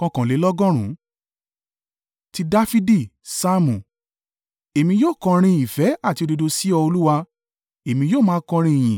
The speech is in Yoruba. Ti Dafidi. Saamu. Èmi yóò kọrin ìfẹ́ àti òdodo; sí ọ Olúwa, èmi yóò máa kọrin ìyìn.